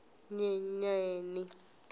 nyenyeni